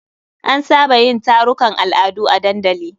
An saba yin tarukan al'adu a dandali.